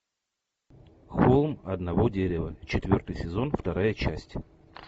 холм одного дерева четвертый сезон вторая часть